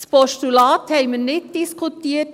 Das Postulat haben wir nicht diskutiert.